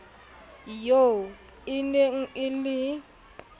eo e neng e le